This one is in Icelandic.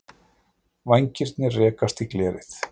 Vængirnir rekast í glerið.